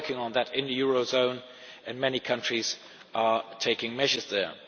We are working on that in the eurozone, and many countries are taking measures there.